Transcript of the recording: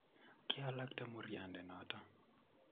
Kialakte muryande noto